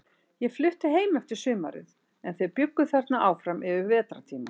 Ég flutti heim eftir sumarið, en þeir bjuggu þarna áfram yfir vetrartímann.